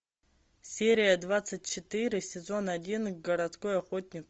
серия двадцать четыре сезон один городской охотник